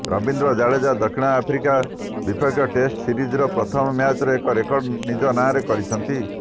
ରବିନ୍ଦ୍ର ଜାଡେଜା ଦକ୍ଷିଣ ଆଫ୍ରିକା ବିପକ୍ଷ ଟେଷ୍ଟ ସିରିଜର ପ୍ରଥମ ମ୍ୟାଚରେ ଏକ ରେକର୍ଡ ନିଜ ନାଁରେ କରିଛନ୍ତି